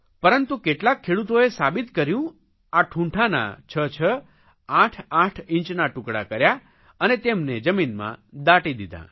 પરંતુ કેટલાક ખેડૂતોએ સાબિત કર્યું આ ઠૂંઠાના છ છ આઠ આઠ ઇંચના ટુકડા કર્યા અને તેમને જમીનમાં દાટી દીધાં